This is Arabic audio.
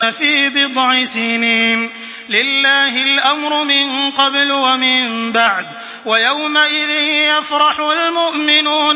فِي بِضْعِ سِنِينَ ۗ لِلَّهِ الْأَمْرُ مِن قَبْلُ وَمِن بَعْدُ ۚ وَيَوْمَئِذٍ يَفْرَحُ الْمُؤْمِنُونَ